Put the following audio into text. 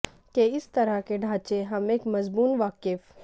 کہ اس طرح کے ڈھانچے ہم ایک مضمون وقف